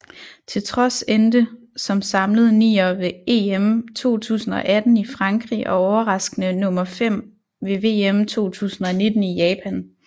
Til trods endte som samlet nier ved EM 2018 i Frankrig og overraskende nummer 5 ved VM 2019 i Japan